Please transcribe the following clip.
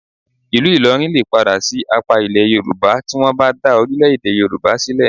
Ìlú Ìlọrin lè padà sí apá Ilẹ̀ Yorùbá tí wọ́n bá dá orílẹ̀-èdè Yorùbá sílẹ̀